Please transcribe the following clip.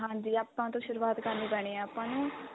ਹਾਂਜੀ ਆਪਾਂ ਤੋਂ ਸ਼ੁਰੁਆਤ ਕਰਨੀ ਪੈਣੀ ਏ ਆਪਾਂ ਨੂੰ